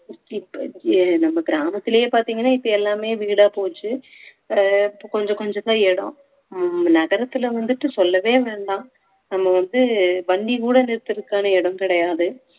நம்ம கிராமத்திலேயே பாத்தீங்கன்னா இப்ப எல்லாமே வீடா போச்சு ஆஹ் இப்ப கொஞ்சம் கொஞ்சமாதான் இடம் அஹ் நகரத்துல வந்துட்டு சொல்லவே வேண்டாம் நம்ம வந்து வண்டிகூட நிறுத்தறதுக்கான இடம் கிடையாது